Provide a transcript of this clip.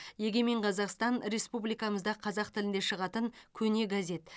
егемен қазақстан республикамызда қазақ тілінде шығатын көне газет